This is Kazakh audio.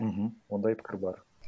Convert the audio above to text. мхм ондай пікір бар